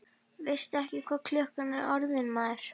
Veistu ekki hvað klukkan er orðin, maður?